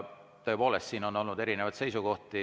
Tõepoolest, siin on olnud erinevaid seisukohti.